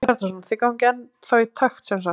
Hjörtur Hjartarson: Þið gangið ennþá í takt sem sagt?